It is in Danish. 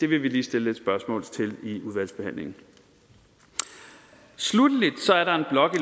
vi stille lidt spørgsmål til i udvalgsbehandlingen sluttelig er der en blok